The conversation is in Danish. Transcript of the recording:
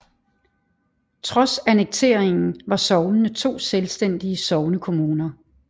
Trods annekteringen var sognene to selvstændige sognekommuner